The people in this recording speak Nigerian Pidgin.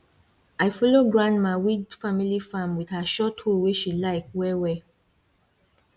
i follow grandma weed family farm with her short hoe wey she like well well